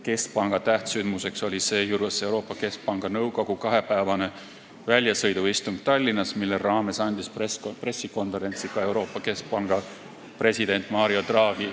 Keskpanga tähtsündmus oli seejuures Euroopa Keskpanga nõukogu kahepäevane väljasõiduistung Tallinnas, mille raames andis pressikonverentsi ka Euroopa Keskpanga president Mario Draghi.